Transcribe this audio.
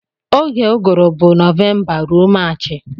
Oge uguru bu novemba rụọ marchi.